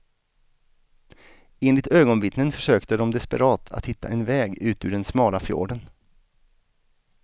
Enligt ögonvittnen försökte de desperat att hitta en väg ut ur den smala fjorden.